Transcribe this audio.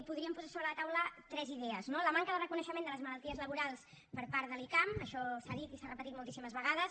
podríem posar sobre la taula tres idees no la manca de reconeixement de les malalties laborals per part de l’icam això s’ha dit i s’ha repetit moltíssimes vegades